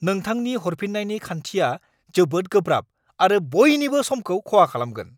नोंथांनि हरफिन्नायनि खान्थिया जोबोद गोब्राब आरो बयनिबो समखौ खहा खालामगोन।